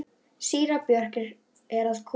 Síra Björn er að koma!